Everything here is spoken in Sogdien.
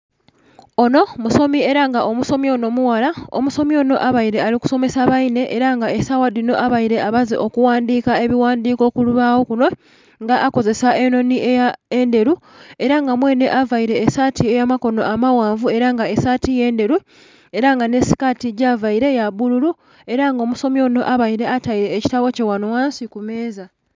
Onho musomi ela nga omusomi onho mughala, omusomi onho abaile ali kusomesa bainhe ela nga esaawa dhino abaile amaze okughandhiika ebighandhiko ku lubaagho nga akozesa enhonhi endhelu, ela nga mwenhe availe esaati ey'amakono amaghanvu ela nga esaati ye ndhelu, ela nga nhi sikaati gyavaile ya bbululu, ela nga omusomi onho abaile ataile ekitabo kye ghanho ghansi ku meeza.